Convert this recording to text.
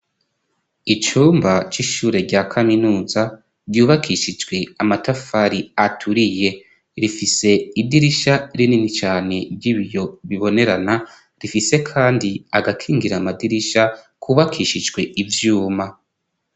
Icumba c'ishure rya kaminuza ryubakishijwe amatafari aturiye, rifise idirisha rinini cane ry'ibiyo bibonerana rifise kandi agakingira amadirisha kubakishijwe ivyuma.